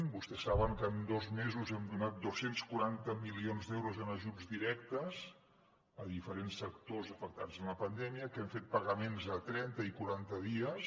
vostès saben que en dos mesos hem donat dos cents i quaranta milions d’euros en ajuts directes a diferents sectors afectats per la pandèmia que hem fet pagaments a trenta i quaranta dies